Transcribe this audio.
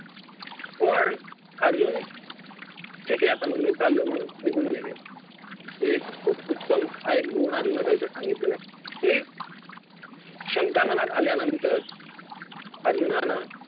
पण अर्जुन ठीक आहे आता मग मी चाललो म्हणून निघून नाही गेला हि एक खूप उत्तम हा एक गुण अर्जुनाचा इथं सांगितलेला आहे की शंका मनात आल्यानंतर अर्जुनानं